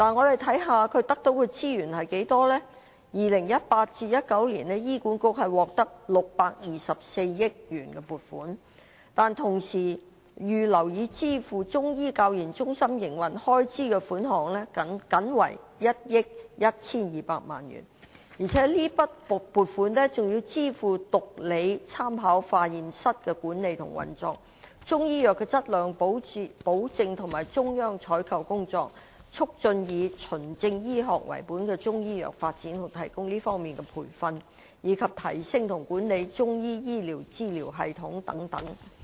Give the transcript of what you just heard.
2018-2019 年度，醫管局獲得624億元撥款，但是，同期預留以支付中醫教研中心營運開支的款項僅為1億 1,200 萬元，而且這筆撥款更要支付毒理學參考化驗室的管理和運作、中醫藥的質量保證和中央採購工作、促進以"循證醫學"為本的中醫藥發展和提供這方面的培訓，以及提升和管理中醫醫療資訊系統等。